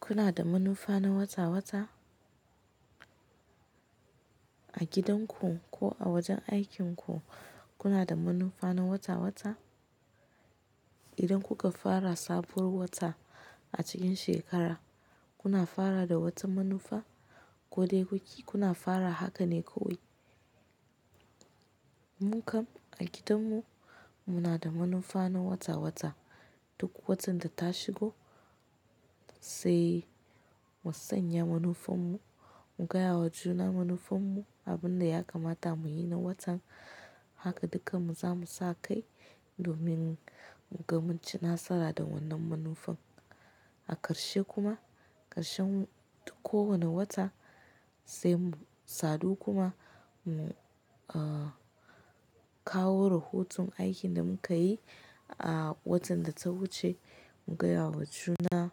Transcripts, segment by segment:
Kuna da manufa na wata-wata? A gidanku ko a wajen aikinku kuna da manufa na wata-wata? Idan kuka fara sabuwar wata a cikin shekara, kuna fara da wata manufa ko dai guki kuna fara haka ne kawai. Mu kam a gidanmu muna da manufa na wata-wata. Duk watan da ta shigo sai mu sanya manufarmu, mu gaya wa juna manufarmu abin da ya kamata mu yi na watan. Haka duka mu zamu sa kai domin mu ga mun ci nasara da wannan manufan. A ƙarshe kuma, ƙarshen kowane wata sai mu sadu kuma mu, uh, kawo rahoton aikin da mun kayi, uh, watan da ta wuce. Mu gaya wa juna,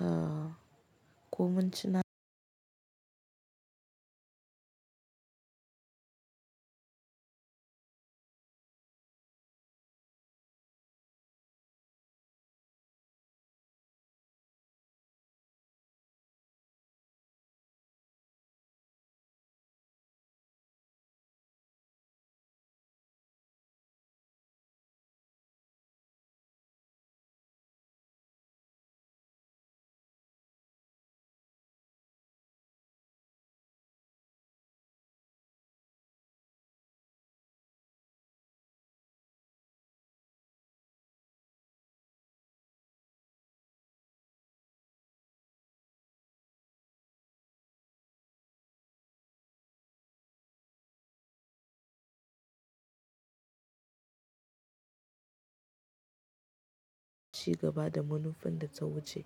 uh, ko mun ci cigaba da da munafan data wuce.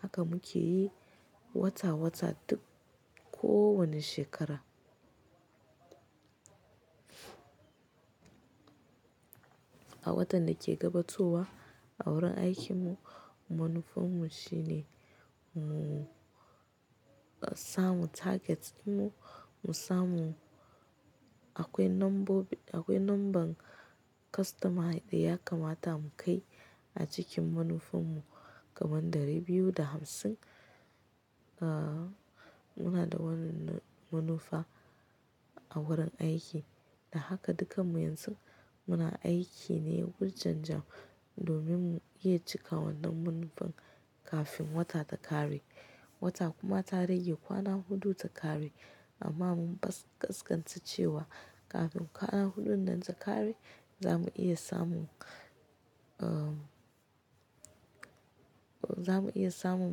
Haka muke yi wata-wata duk kowane shekara. A watan da ke gabatowa a wurin aikinmu, manufarmu shine mu samu targets ɗin mu. Mu samu akwai nambo, akwai number customer ɗaya ya kamata mu kai a cikin manufarmu kaman ɗari biyu da hamsin. Muna da wannan manufa a wurin aiki. Da haka dukanmu yanzu muna aiki ne wurjan-jan domin mu iya cika wannan manufan kafin wata ta ƙare. Wata kuma ta rage kwana huɗu ta ƙare amma mun ƙasƙanta cewa kafin kwana huɗun nan ta ƙare, za mu iya samun, uh, za mu iya samun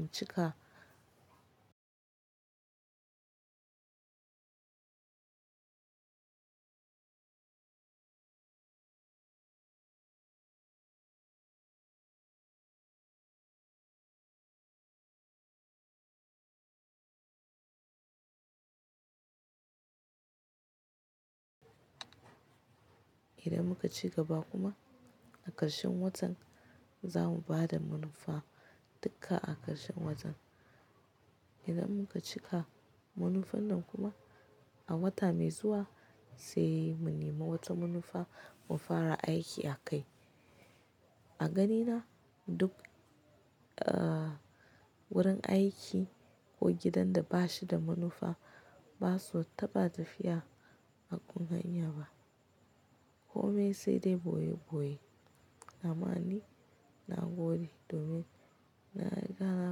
mu cika. Idan muka ci gaba kuma a ƙarshen watan, za mu ba da manufa dukka a ƙarshen watan. Idan muka cika manufan nan kuma a wata mai zuwa sai mu nema wata manufa mu fara aiki a kai. A ganina duk, uh, wurin aiki ko gidan da ba shi da manufa ba su taɓa tafiya a ƙungiya ba. Ko me sai dai boye boye. Amma ni na gode domin na riga na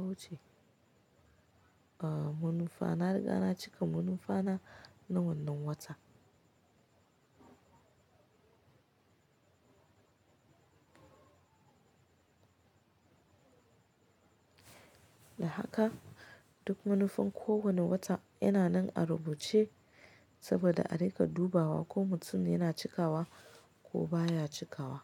wuce, uh, manufa. Na riga na cika manufa na na wannan wata. Da haka duk manufan kowane wata yana nan a rubuce saboda a riƙa dubawa ko mutum yana cikawa ko baya cikawa.